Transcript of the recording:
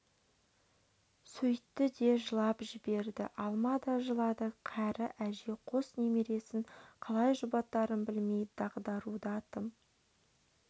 сөйтті де жылап жіберді алма да жылады кәрі әже қос немересін қалай жұбатарын білмей дағдаруда тым